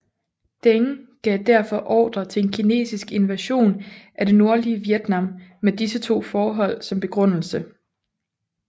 Deng gav derfor ordre til en kinesisk invasion af det nordlige Vietnam med disse to forhold som begrundelse